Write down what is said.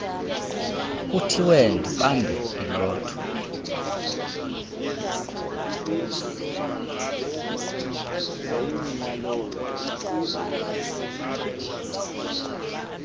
kuthiwe ndibambe ilotho